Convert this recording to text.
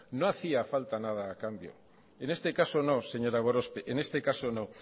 no hacía falta nada a cambio en este caso no señora gorospe en este caso no